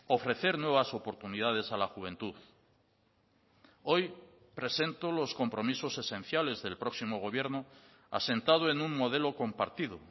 ofrecer nuevas oportunidades a la juventud hoy presento los compromisos esenciales del próximo gobierno asentado en un modelo compartido